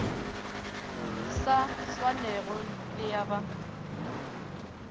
sa swanego le ya ba